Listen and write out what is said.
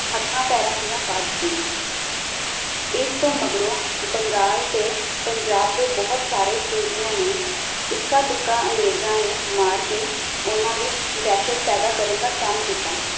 ਹਥਾਂ ਪੈਰਾਂ ਦੀਆਂ ਪਾ ਦਿਤੀਆਂ ਇਸਤੋਂ ਮਗਰੋਂ ਬੰਗਾਲ ਤੇ ਪੰਜਾਬ ਦੇ ਬਹੁਤ ਸਾਰੇ ਸੂਰਮਿਆਂ ਨੇ ਇੱਕਾ -ਦੁੱਕਾ ਅੰਗਰੇਜਾਂ ਨੂੰ ਮਾਰ ਕੇ ਉਨ੍ਹਾਂ ਵਿਚ ਦਹਿਸ਼ਤ ਪੈਦਾ ਕਰਨ ਦਾ ਕੰਮ ਕੀਤਾ